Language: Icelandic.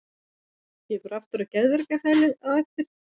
Ég fer aftur á geðveikrahælið á eftir.